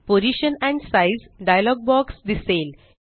position and size dialogue box दिसेल